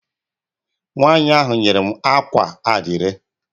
Nwanyi ahụ nyere m akwa adire.